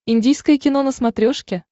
индийское кино на смотрешке